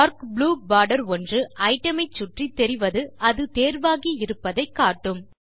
dark blue border ஒன்று item சுற்றித் தெரிவது அது தேர்வாகி இருப்பதை காட்டும்